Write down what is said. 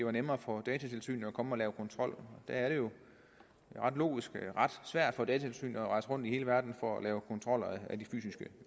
er nemmere for datatilsynet at komme og lave kontrol det er jo ret logisk er ret svært for datatilsynet at rejse rundt i hele verden for at lave kontrol af de fysiske